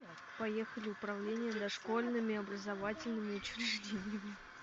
поехали управление дошкольными образовательными учреждениями